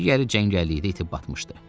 Digəri cəngəllikdə itib batmışdı.